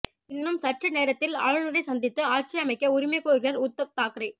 இன்னும் சற்று நேரத்தில் ஆளுநரை சந்தித்து ஆட்சி அமைக்க உரிமை கோருகிறார் உத்தவ் தாக்கரே